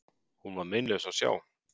Hún var meinlaus að sjá.